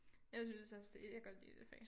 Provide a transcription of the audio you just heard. Jeg synes også det jeg kan godt lide det fag